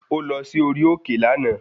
Ó lọ sí orí òkè lànà.